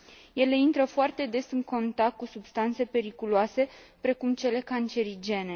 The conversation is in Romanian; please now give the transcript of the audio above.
Ele intră foarte des în contact cu substanțe periculoase, precum cele cancerigene.